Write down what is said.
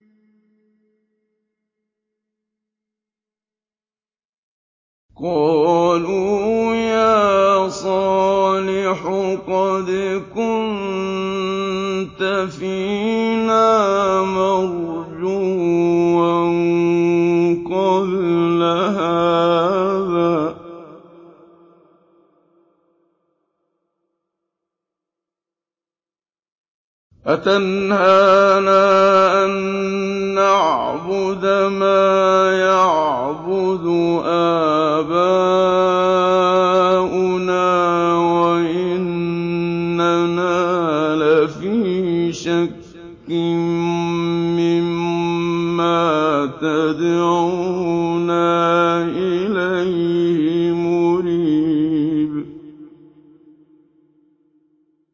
قَالُوا يَا صَالِحُ قَدْ كُنتَ فِينَا مَرْجُوًّا قَبْلَ هَٰذَا ۖ أَتَنْهَانَا أَن نَّعْبُدَ مَا يَعْبُدُ آبَاؤُنَا وَإِنَّنَا لَفِي شَكٍّ مِّمَّا تَدْعُونَا إِلَيْهِ مُرِيبٍ